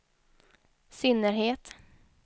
synnerhet